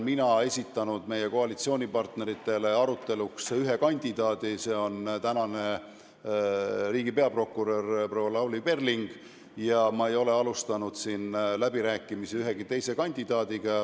Mina olen meie koalitsioonipartneritele esitanud aruteluks ühe kandidaadi, see on tänane riigi peaprokurör Lavly Perling, ja ma ei ole alustanud läbirääkimisi ühegi teise kandidaadiga.